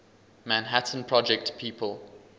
manhattan project people